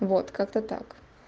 вот как-то так